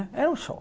Era um show.